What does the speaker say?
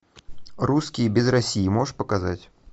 русские без россии можешь показать